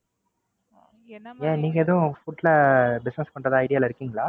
ஏன் நீங்க எதும் Food ல Business பண்றதா Idea ல இருக்கீங்களா?